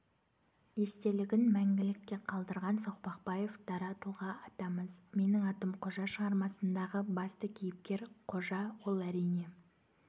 естелігін мәңгілікке қалдырған соқпақбаев дара тұлға атамыз менің атым қожа шығармасындағы басты қейіпкер қожа ол әрине